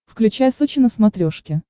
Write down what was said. включай сочи на смотрешке